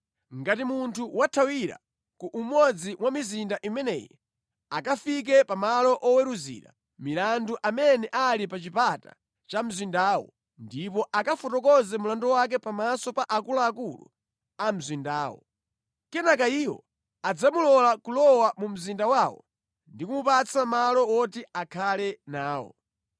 Ngati munthu wathawira ku umodzi mwa mizinda imeneyi, akafike pa malo oweruzira milandu amene ali pa chipata cha mzindawo ndipo akafotokoze mlandu wake pamaso pa akuluakulu a mzindawo. Kenaka iwo adzamulola kulowa mu mzinda wawo ndi kumupatsa malo woti akhale nawo.